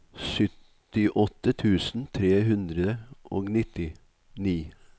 syttiåtte tusen tre hundre og nittini